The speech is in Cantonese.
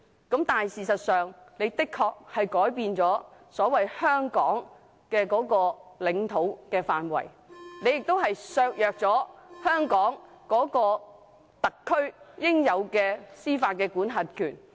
但事實上，"一地兩檢"的確改變了"香港的領土範圍"，亦削弱了香港特區應有的司法管轄權。